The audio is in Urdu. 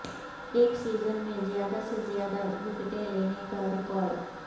ایک سیزن میں زیادہ سے زیادہ وکٹیں لینے کا ریکارڈ